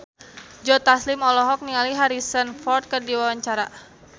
Joe Taslim olohok ningali Harrison Ford keur diwawancara